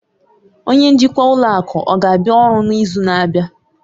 Onye njikwa ụlọ akụ ọ ga-abịa ọrụ n'izu na-abịa?